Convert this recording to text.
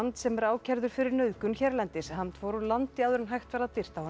sem er ákærður fyrir nauðgun hérlendis fór úr landi áður en hægt var að birta honum